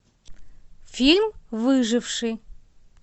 фильм выживший